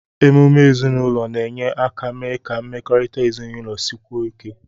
Emume ezinụlọ na-enye aka mee ka mmekọrịta ezinụlọ sikwuo ike.